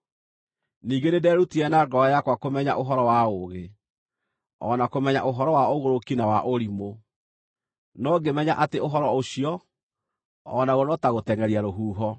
Ningĩ nĩnderutire na ngoro yakwa kũmenya ũhoro wa ũũgĩ, o na kũmenya ũhoro wa ũgũrũki na wa ũrimũ, no ngĩmenya atĩ ũhoro ũcio, o naguo, no ta gũtengʼeria rũhuho.